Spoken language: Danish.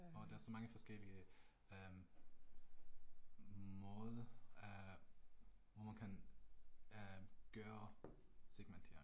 Og der er så mange forskellige, øh måde? Øh nogen kan øh gøre segmentering